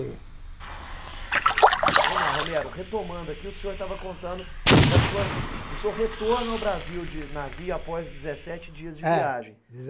Então vamos lá, Romero, retomando aqui, o senhor estava contando da sua do seu retorno ao Brasil de navio após dezessete dias de viagem. Ah